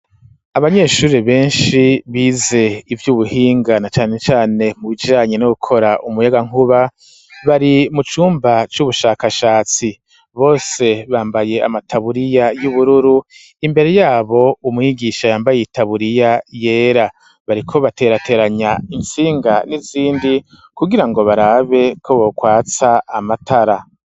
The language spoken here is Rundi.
Abanyeshure benshi bize ivy'ubuhinga na cane cane mu bijiranye no gukora umuyagankuba bari mu cumba c'ubushakashatsi bose bambaye amataburiya y'ubururu imbere yabo umwigisha yambaye itaburiya yera bariko baterateranya intsinga n'izindi kugira ngo barabe ko bokwatsa amatara.